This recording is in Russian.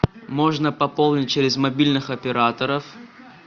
можно пополнить через мобильных операторов